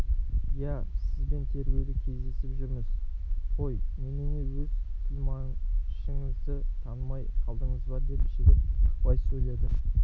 иә сізбен тергеуде кездесіп жүрміз ғой немене өз тілмашыңызды танымай қалдыңыз ба деп жігіт ықпай сөйледі